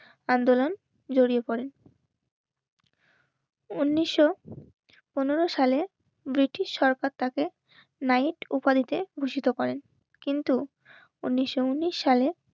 আন্দোলন জড়িয়ে পরে উনিশশো পনেরো সালে ব্রিটিশ সরকার তাকে নাইট ওপারীতে ভূষিত করে. কিন্তু উনিশশো উনিশ সালে